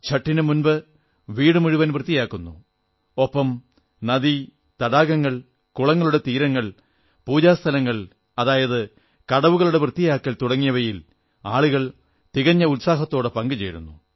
ഛഠ് നു മുമ്പ് വീടുമുഴുവൻ വൃത്തിയാക്കുന്നു ഒപ്പം നദി തടാകങ്ങൾ കുളങ്ങളുടെ എന്നിവയുടെ തീരങ്ങൾ പൂജാസ്ഥലങ്ങൾ അതായത് കടവുകളുടെ വൃത്തിയാക്കൽ തുടങ്ങിയവയിൽ ആളുകൾ തികഞ്ഞ ഉത്സാഹത്തോടെ പങ്കുചേരുന്നു